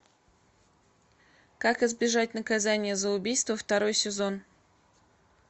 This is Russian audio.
как избежать наказания за убийство второй сезон